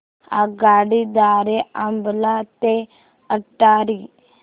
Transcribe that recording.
आगगाडी द्वारे अंबाला ते अटारी